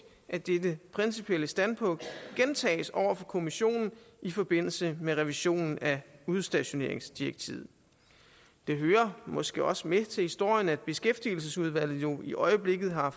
at dette principielle standpunkt gentages over for kommissionen i forbindelse med revisionen af udstationeringsdirektivet det hører måske også med til historien at beskæftigelsesudvalget jo i øjeblikket har